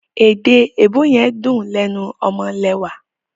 Èèdè èèbó yen dún lénu omolewà.